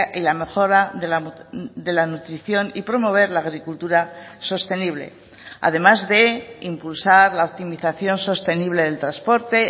y la mejora de la nutrición y promover la agricultura sostenible además de impulsar la optimización sostenible del transporte